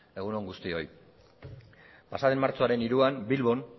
egun on guztioi pasaden martxoaren hiruan bilbon